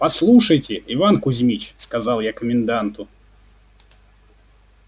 послушайте иван кузьмич сказал я коменданту